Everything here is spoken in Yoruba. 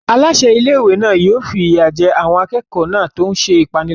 Aláṣẹ ilé-ìwé náà yóò fi ìyà jẹ àwọn akẹ́kọ̀ọ́ náà tó ń ṣe ìpániláyà.